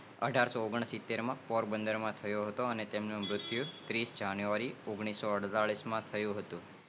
અઢારસોનેઆગણસિત્તેર માં પોરબંધનમાં થયો હતો તેમનું મુત્યુ ઓગાણિસોળતાળીસ માં થયુ હતું